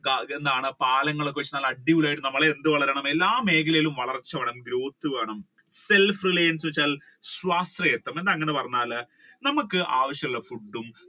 എന്താണ് നല്ല പാലങ്ങൾ ഒക്കെ വെച്ച് നല്ല അടിപൊളിയായിട്ട് എന്ത് വളരണം എല്ലാ മേഖലയിലും വളർച്ച വേണം growth വേണം self-reliance സ്വാശ്രയം എന്താണ് അങ്ങനെ പറഞ്ഞാൽ നമ്മുക്ക് ആവശ്യം ഉള്ള food